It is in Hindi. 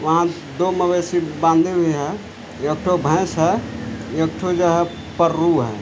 वहाँ दो मवैसी बांधे हुए हैं एक ठो भैंस है एक ठो जो है पररु है।